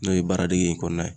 N'o ye baara dege in kɔnɔna ye